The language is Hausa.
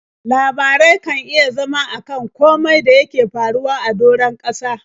Labarai kan iya zama a kan komai da yake faruwa a doron ƙasa.